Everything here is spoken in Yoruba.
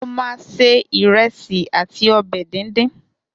Mo ma se ìrẹsì àti ọbẹ̀ díndín